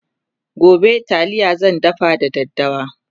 gobe taliya zan dafa da daddawa